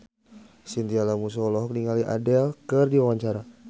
Chintya Lamusu olohok ningali Adele keur diwawancara